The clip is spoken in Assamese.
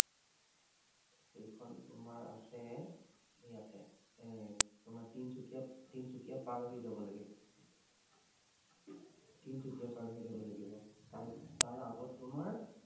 সেইখন তোমাৰ আছে এৰ ইয়াতে, তোমাৰ তিনচুকীয়া, তিনচুকীয়া পাৰ হৈ যাব লাগে। তিনচুকীয়া পাৰ হৈ যাব লাগিব। তাৰ, তাৰ আগত তোমাৰ